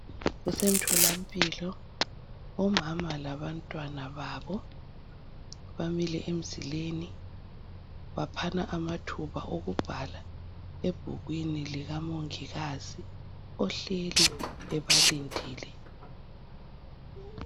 Kusemtholampilo omama labantwana babo bamile emzileni baphana amathuba okubhala ebhukwini lika mongikazi ohleli ebalindile.